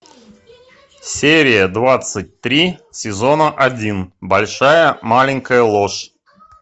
серия двадцать три сезона один большая маленькая ложь